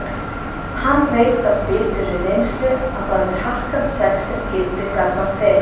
Hann veit af biturri reynslu að það er harkan sex sem gildir gagnvart þeim.